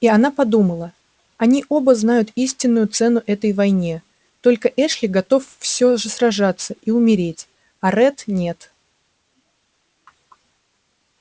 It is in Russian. и она подумала они оба знают истинную цену этой войне только эшли готов всё же сражаться и умереть а ретт нет